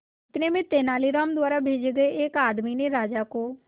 इतने में तेनालीराम द्वारा भेजे गए एक आदमी ने राजा को